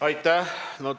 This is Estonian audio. Aitäh!